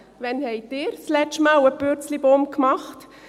Wann haben Sie zum letzten Mal einen Purzelbaum gemacht?